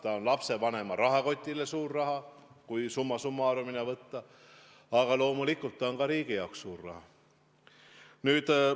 See on lapsevanemate rahakotile suur raha, kui summa summarum'ina võtta, aga loomulikult on see ka riigi jaoks suur raha.